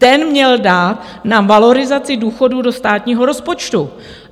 Ten měl dát na valorizaci důchodů do státního rozpočtu.